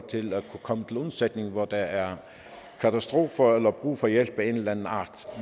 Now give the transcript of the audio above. til at kunne komme til undsætning hvor der er katastrofer eller brug for hjælp af en eller anden art